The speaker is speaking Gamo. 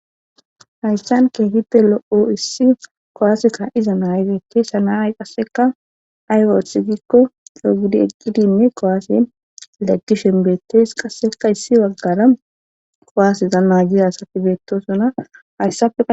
hayssan keehite lo7o issi kuwaaseka iza naaygeettees a naay qasseka aywooth gikko dhogidi eqqidinne kowaasen leggi shenbeettees qasseka issi waggara kowaaseza maagiza asati beettosona hayssafe